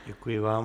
Děkuji vám.